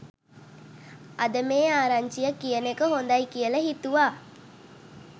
අදම මේ ආරංචිය කියන එක හොදයි කියල හිතුවා